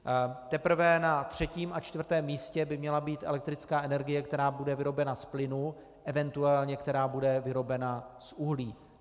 Teprve na třetím a čtvrtém místě by měla být elektrická energie, která bude vyrobena z plynu, eventuálně která bude vyrobena z uhlí.